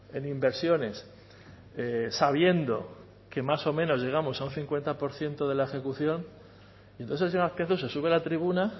en inversiones sabiendo que más o menos llegamos a un cincuenta por ciento de la ejecución y entonces señor azpiazu se sube la tribuna